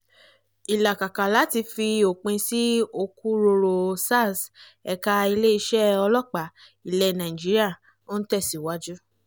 ìlàkàkà láti fi òpin sí òkúròrò sars ẹ̀ka ilé-isẹ́ ọlọ́pàá ilẹ̀ nàìjíiríà ń tẹ̀síwájú